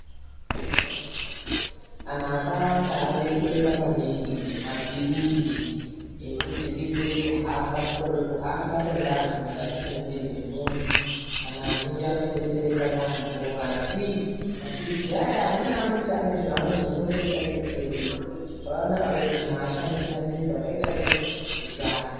Antu akawanda adetsereka maningi ngemapirizi ekudzikisira kukorera kuhamba kwengazi mukati momuwiri mwomuntu. Antu azhinji akudetsereka yaambo asi mapilizi aya amweni ane zvaanozokonzeresa kumberiyo .Zvakanaka kiti muntu ashandise mapirisi akaita sechiantu .